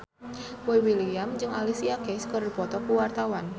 Boy William jeung Alicia Keys keur dipoto ku wartawan